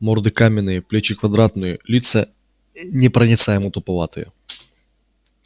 морды каменные плечи квадратные лица непроницаемо-туповатые